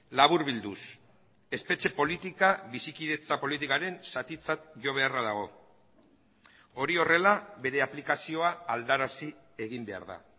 laburbilduz espetxe politika bizikidetza politikaren zatitzat jo beharra dago hori horrela bere aplikazioa aldarazi egin behar da